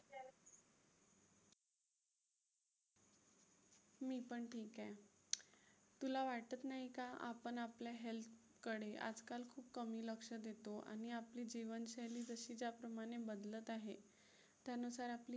मी पण ठीक आहे. तुला वाटत नाही का आपण आपल्या health कडे आजकाल खूप कमी लक्ष देतो आणि आपली जीवनशैली जशी ज्याप्रमाणे बदलत आहे. त्यानुसार आपली Health